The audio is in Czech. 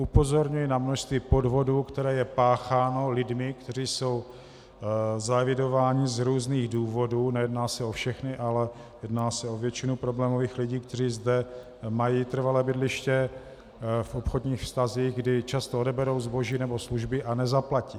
Upozorňuji na množství podvodů, které jsou páchány lidmi, kteří jsou zaevidováni z různých důvodů, nejedná se o všechny, ale jedná se o většinu problémových lidí, kteří zde mají trvalé bydliště, v obchodních vztazích, kdy často odeberou zboží nebo služby a nezaplatí.